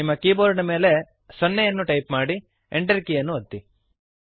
ನಿಮ್ಮ ಕೀಬೋರ್ಡ್ ನ ಮೇಲೆ 0 ಅನ್ನು ಟೈಪ್ ಮಾಡಿ Enter ಕೀಯನ್ನು ಒತ್ತಿರಿ